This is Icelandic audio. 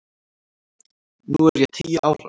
Núna er ég tíu ára.